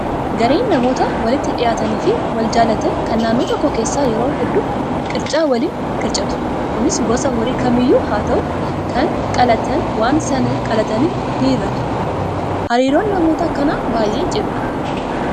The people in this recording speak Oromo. Gareen namoota walitti dhiyaatanii fi wal jaallatanii kan naannoo tokko keessaa yeroo hedduu qircaa waliin qircatu. Kunis gosa horii kamiyyuu haa ta'u kan qalatan waan sana qalatanii ni hiratu. Hariiroon namoota akkanaa baay'ee cimaadha.